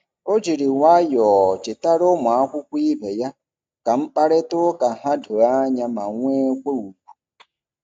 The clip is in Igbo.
O jiri nwayọọ chetara ụmụakwụkwọ ibe ya ka mkparịtaụka ha doo anya ma nwekwa ùgwù.